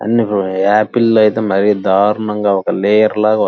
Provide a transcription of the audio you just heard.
apple లు అయితే మరి దారుణంగా ఒక లేయర్ లాగా --